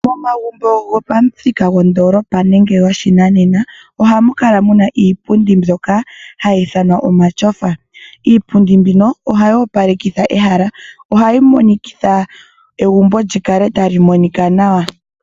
Pomagumbo gomamuthika gondoolopa nenge go shinanena, ohamu kala muna iipundi mbyoka hayi ithanwa omashofa. Iipundi mbino ohayi opalekitha ehala, ohayi monikitha egumbo lyi kale tali monika nawa.